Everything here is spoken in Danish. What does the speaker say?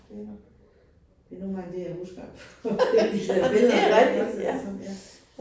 Det nok, det nogle gange det, jeg husker på på de her billeder ikke også sådan ja